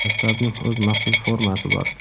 Maktabning o‘z maxsus formasi bor.